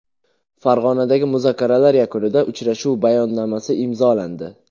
Farg‘onadagi muzokaralar yakunida uchrashuv bayonnomasi imzolandi.